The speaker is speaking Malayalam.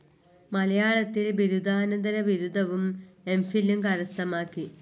മലയാളത്തിൽ ബിരുദാന്തരബിരുദവും എംഫിലും കരസ്ഥമാക്കി.